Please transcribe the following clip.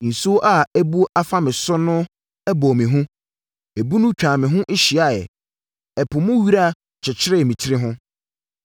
Nsuo a abu afa me so no bɔɔ me hu, ebunu no twaa me ho hyiaeɛ; ɛpo mu wira kyekyeree me tiri ho.